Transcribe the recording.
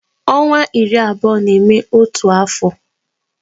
Ọnwa iri na abụọ na-eme otu afọ